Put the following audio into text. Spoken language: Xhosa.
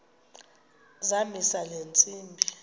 zamisa le ntsimbi